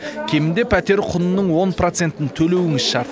кемінде пәтер құнының он процентін төлеуіңіз шарт